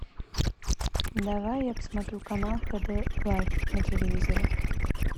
давай я посмотрю канал хд лайф на телевизоре